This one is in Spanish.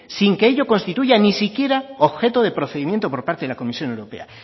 sin que ello constituya ni siquiera objeto de procedimiento por parte de la comisión europea